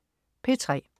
P3: